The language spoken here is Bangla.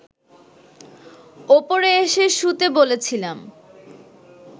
ওপরে এসে শুতে বলেছিলাম